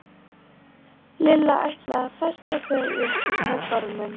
Lilla ætlaði að festa þau upp með gormum.